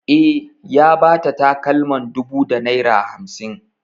E, ya ba ta takalman dubu da naira hamsin.